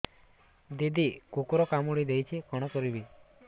ଦିଦି କୁକୁର କାମୁଡି ଦେଇଛି କଣ କରିବି